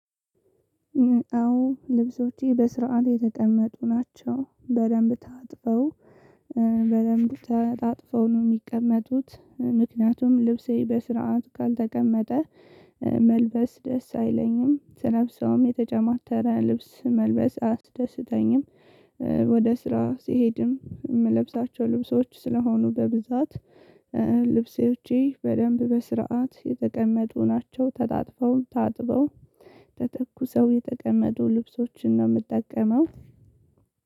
አዎ ልብሶቼ በስርዓት የተቀመጡ ናቸው በደንብ ታጥበው በደንብ ተጣጥፈው ነው የሚቀመጡት ምክንያቱም ልብሴ በስርዓቱ ካልተቀመጠ መልበስ ደስ አይለኝም ስለብሰውም የተጨማተረ ልብስ መልበስ አያስደስተኝም። ወደ ስራ ስሄድም የምለብሳቸው ልብሶች ስለሆኑ በብዛት ልብሴዎቼ በደንብ በስርዓት የተቀመጡ ናቸው ተታጥፈው ታጥበው ተተኩሰው የተቀመጡ ልብሶችን ነው። የምጠቀመው